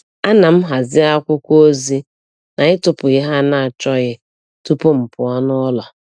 Ana m hazie akwụkwọ ozi na ịtụpụ ihe a na-achọghị tupu m pụọ n’ụlọ.